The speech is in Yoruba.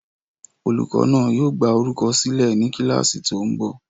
Olùkọ́ náà yóò gbá orúkọ sílẹ̀ ní kíláàsì tó ń bọ̀